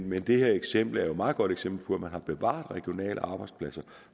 men det her eksempel er et meget godt eksempel på at man har bevaret regionale arbejdspladser